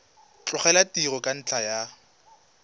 tlogela tiro ka ntlha ya